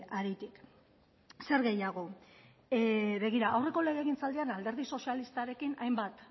haritik zer gehiago begira aurreko legegintzaldian alderdi sozialistarekin hainbat